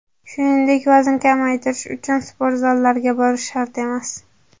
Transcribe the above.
Shuningdek, vazn kamaytirish uchun sport zallariga borish shart emas.